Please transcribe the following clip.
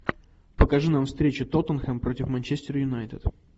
покажи нам встречу тоттенхэм против манчестер юнайтед